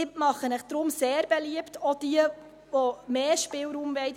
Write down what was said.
Ich mache Ihnen deshalb sehr beliebt – auch jenen, die mehr Spielraum wollen;